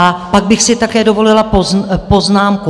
A pak bych si také dovolila poznámku.